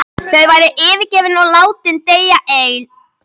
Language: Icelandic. Þau væru yfirgefin og látin deyja alein.